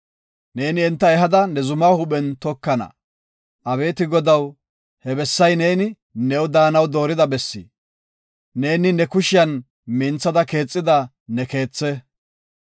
Neeni enta ehada, ne zumaa huuphen tokana. Abeeti Godaw, he bessay neeni new daanaw doorida bessi, neeni ne kushiyan minthada keexida ne keethe.